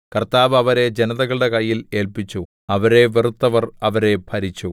കർത്താവ് അവരെ ജനതകളുടെ കയ്യിൽ ഏല്പിച്ചു അവരെ വെറുത്തവർ അവരെ ഭരിച്ചു